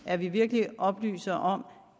at vi virkelig oplyser om